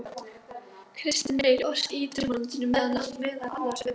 Kristinn Reyr orti í Draumalandinu meðal annars um